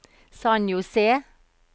San José